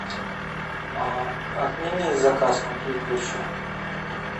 отмени заказ мой предыдущий